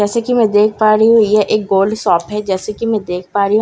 जैसे की मैं देख पा रही हूँ यह एक गोल्ड शॉप हैं जैसे की मैं देख पा रही हूँ --